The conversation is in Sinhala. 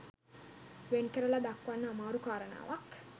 වෙන් කරලා දක්වන්න අමාරු කාරණාවක්